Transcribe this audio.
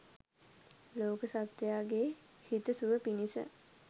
ලෝක සත්වයාගේ හිත සුව පිණිස